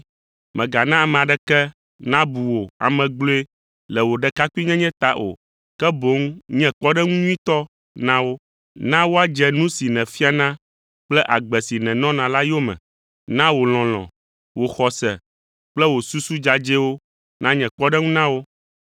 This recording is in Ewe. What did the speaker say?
Mègana ame aɖeke nabu wò ame gblɔe le wò ɖekakpuinyenye ta o, ke boŋ nye kpɔɖeŋu nyuitɔ na wo. Na woadze nu si nèfiana kple agbe si nènɔna la yome. Na wò lɔlɔ̃, wò xɔse kple wò susu dzadzɛwo nanye kpɔɖeŋu na wo.